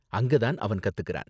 அங்க தான் அவன் கத்துகிறான் .